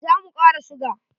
Za mu kara suga.